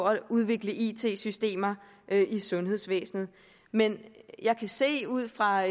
at udvikle it systemer i sundhedsvæsenet men jeg kan se ud fra